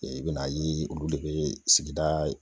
I be na ye olu de be sigida